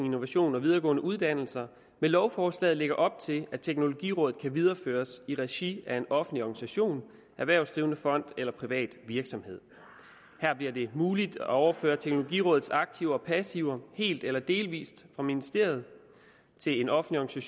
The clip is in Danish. innovation og videregående uddannelser med lovforslaget lægger op til at teknologirådet kan videreføres i regi af en offentlig organisation erhvervsdrivende fond eller privat virksomhed her bliver det muligt at overføre teknologirådets aktiver og passiver helt eller delvis fra ministeriet til en offentlig